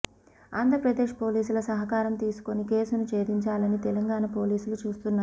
ఆంధ్రప్రదేశ్ పోలీసుల సహకారం తీసుకుని కేసును చేధిం చాలని తెలంగాణ పోలీసులు చూస్తున్నారు